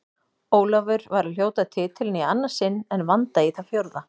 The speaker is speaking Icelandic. Ólafur var að hljóta titilinn í annað sinn en Vanda í það fjórða.